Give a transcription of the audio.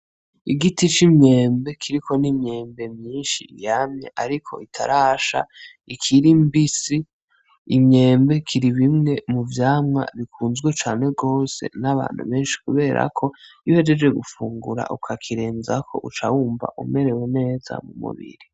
Igiti c’imyembe kiriko n’imyembe myinshi yamye ariko itarasha ikiri mbisi . Imyembe kiri bimwe mu vyamwa bikunzwe cane gose n’abantu benshi kubera ko iyo uhejeje gufungura ukakirenzako uca wumva umerewe neza mu mubiri.